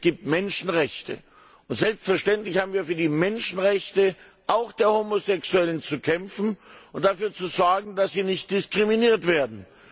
Es gibt Menschenrechte, und selbstverständlich haben wir für die Menschenrechte, auch der Homosexuellen, zu kämpfen und dafür zu sorgen, dass sie nicht diskriminiert werden.